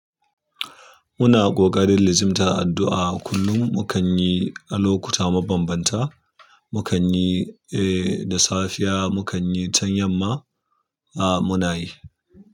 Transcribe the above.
Muna ƙoƙarin lizimtar addu'a. Kullum mu kan yi a lokuta mabanbanta. Mu kan yi, eh, da safiya mu kan yi, can yamma, a muna yi.